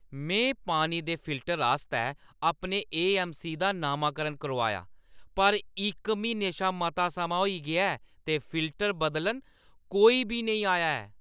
मैं पानी दे फिल्टर आस्तै अपने ए.ऐम्म.सी. दा नामाकरण करोआया पर इक म्हीने शा मता समां होई गेआ ऐ ते फिल्टर बदलन कोई बी नेईं आया ऐ।